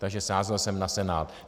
Takže sázel jsem na Senát.